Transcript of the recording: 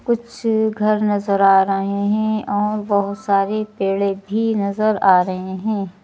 कुछ घर नजर आ रहे हैं और बहुत सारे पेड़े भी नजर आ रहे हैं।